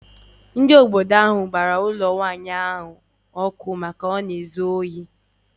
Ndị obodo ahụ gbara ụlọ ya ọkụ n’afọ gara aga n’ihi na ọ na-ezu ohi.